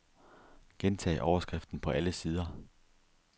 Gentag overskriften på alle sider.